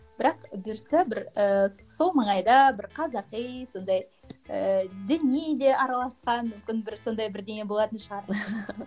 бірақ бұйыртса бір ііі сол маңайда бір қазақи сондай ііі діни де араласқан мүмкін бір сондай бірдеңе болатын шығар